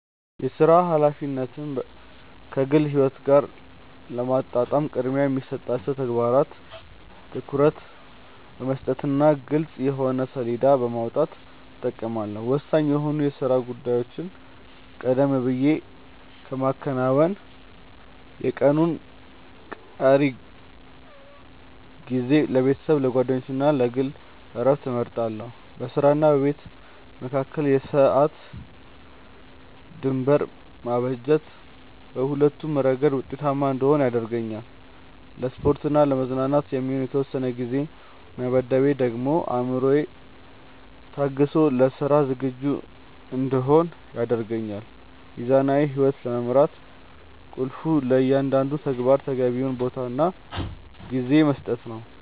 የሥራ ኃላፊነትን ከግል ሕይወት ጋር ለማጣጣም ቅድሚያ ለሚሰጣቸው ተግባራት ትኩረት በመስጠትና ግልጽ የጊዜ ሰሌዳ በማውጣት እጠቀማለሁ። ወሳኝ የሆኑ የሥራ ጉዳዮችን ቀደም ብዬ በማከናወን፣ የቀኑን ቀሪ ጊዜ ለቤተሰብ፣ ለጓደኞችና ለግል ዕረፍት እመድባለሁ። በሥራና በቤት መካከል የሰዓት ድንበር ማበጀት በሁለቱም ረገድ ውጤታማ እንድሆን ይረዳኛል። ለስፖርትና ለመዝናኛ የሚሆን የተወሰነ ጊዜ መመደቤ ደግሞ አእምሮዬ ታድሶ ለሥራ ዝግጁ እንድሆን ያደርገኛል። ሚዛናዊ ሕይወት ለመምራት ቁልፉ ለእያንዳንዱ ተግባር ተገቢውን ቦታና ጊዜ መስጠት ነው።